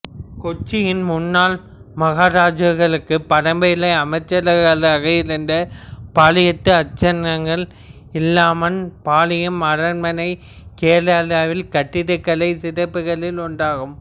கொச்சியின் முன்னாள் மகாராஜாக்களுக்கு பரம்பரை அமைச்சர்களாக இருந்த பாலியத்து அச்சன்களின் இல்லமான பாலியம் அரண்மனை கேரளாவின் கட்டடக்கலை சிறப்புகளில் ஒன்றாகும்